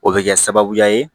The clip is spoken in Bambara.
O bɛ kɛ sababuya ye